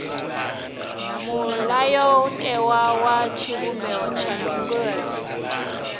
mulayotewa wa tshivhumbeo tsha ndangulo